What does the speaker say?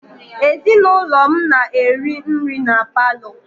Ezinụlọ m na-eri nri na paalọ.